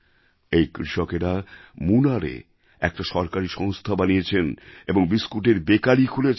এই কৃষকেরা মুনারএ একটা সরকারী সংস্থা বানিয়েছেন এবং বিস্কুটের বেকারি খুলেছেন